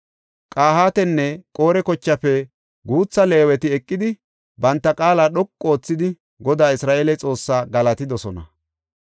Qahaatanne Qore kochaafe guutha Leeweti eqidi banta qaala dhoqu oothidi, Godaa Isra7eele Xoossaa galatidosona.